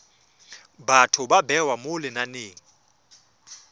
batho ba bewa mo lenaneng